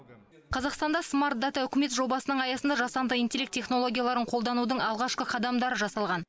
қазақстанда смарт дата үкімет жобасының аясында жасанды интеллект технологияларын қолданудың алғашқы қадамдары жасалған